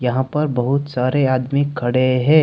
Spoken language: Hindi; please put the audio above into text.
यहां पर बहुत सारे आदमी खड़े हैं।